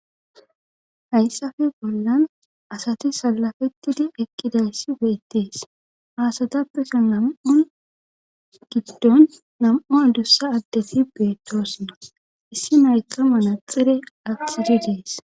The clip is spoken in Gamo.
hayssafe bollan asati salafettidi ekkidayssi beettees. haasatappeso nam''un giddon nam''u adussa addetti beettosna issi naykka manaxire axidi dees.